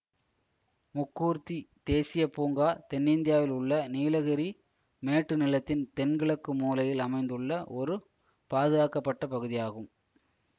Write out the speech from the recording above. முக்கூர்த்தி தேசிய பூங்கா தென்னிந்தியாவில் உள்ள நீலகிரி மேட்டுநிலத்தின் தென்கிழக்கு மூலையில் அமைந்துள்ள ஒரு பாதுகாக்க பட்ட பகுதியாகும்